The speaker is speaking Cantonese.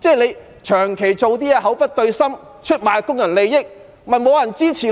他長期做事口不對心，出賣工人利益，當然沒有人支持，